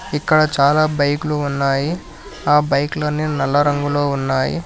ఇక్కడ చాలా బైకులు ఉన్నాయి ఆ బైకులు అని నల్ల రంగులో ఉన్నాయి.